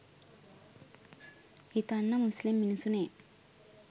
හිතන්න මුස්ලිම් මිනිසුනේ